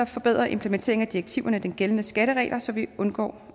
forbedrer implementeringen af direktiverne de gældende skatteregler så vi undgår